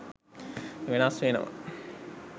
වෙනස් වෙනවා.